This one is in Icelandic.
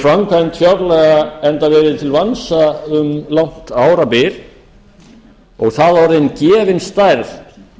framkvæmd fjárlaga enda verið til vansa um langt árabil og þá orðin gefin stærð